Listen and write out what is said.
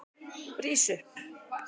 Rís upp!